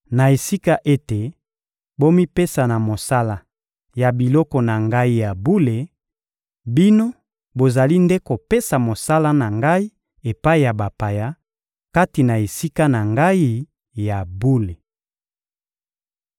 Na esika ete bomipesa na mosala ya biloko na Ngai ya bule, bino bozali nde kopesa mosala na Ngai epai ya bapaya, kati na Esika na Ngai ya bule.